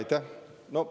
Aitäh!